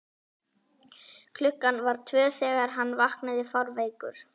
klukkan var tvö þegar hann vaknaði fárveikur.